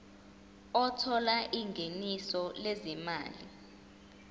othola ingeniso lezimali